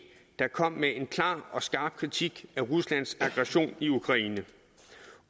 der kom med en klar og skarp kritik af ruslands aggression i ukraine